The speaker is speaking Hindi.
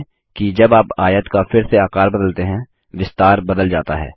ध्यान दें कि जब आप आयत का फिर से आकर बदलते हैं विस्तार बदल जाता है